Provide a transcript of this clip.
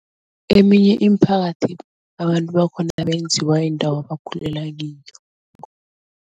Eminye imiphakathi abantu bakhona benziwa yindawo ebakhulela kiyo.